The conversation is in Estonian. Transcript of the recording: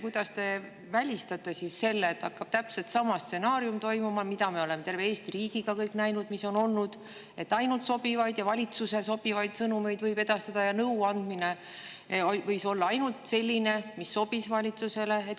Kuidas te välistate selle, et hakkab toimuma täpselt sama stsenaarium, mida me kõik – terve Eesti riik – oleme näinud, et ainult valitsusele sobivaid sõnumeid võib edastada ja nõu andmine võib olla ka ainult selline, mis valitsusele sobib?